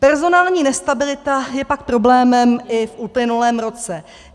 Personální nestabilita je pak problémem i v uplynulém roce.